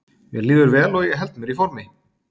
Mér líður vel og ég held mér í formi.